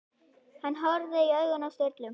Hann horfði í augun á Sturlu.